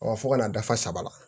fo kana dafa saba la